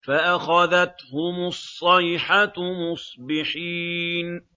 فَأَخَذَتْهُمُ الصَّيْحَةُ مُصْبِحِينَ